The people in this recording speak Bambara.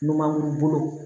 Numankuru bolo